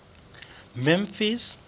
memphis